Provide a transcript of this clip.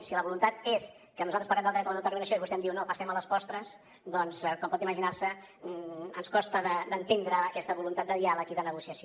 si la voluntat és que nosaltres parlem del dret a l’autodeterminació i vostè em diu no passem a les postres doncs com pot imaginar se ens costa d’entendre aquesta voluntat de diàleg i de negociació